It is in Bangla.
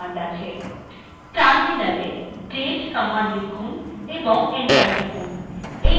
terminal date কমান্ড লিখুন এবং enter টিপুন